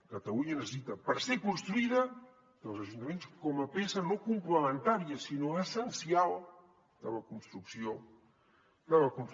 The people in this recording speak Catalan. catalunya necessita per ser construïda els ajuntaments com a peça no complementària sinó essencial de la construcció del país